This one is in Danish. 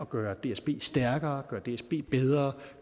gøre dsb stærkere at gøre dsb bedre